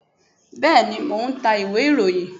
bẹẹni, mo n ta íwe-irohín